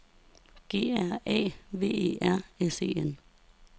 G R A V E R S E N